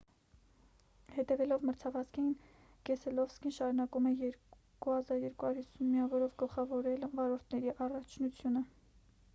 հետևելով մրցավազքին կեսելովսկին շարունակում է 2 250 միավորով գլխավորել վարորդների առաջնությունը